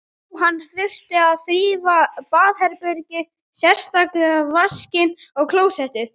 Jú, hann þurfti að þrífa baðherbergið, sérstaklega vaskinn og klósettið.